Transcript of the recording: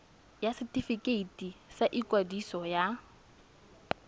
ya setefikeiti sa ikwadiso ya